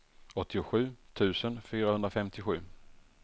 åttiosju tusen fyrahundrafemtiosju